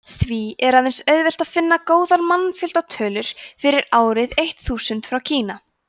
því er aðeins auðvelt að finna góðar mannfjöldatölur fyrir árið eitt þúsund frá kína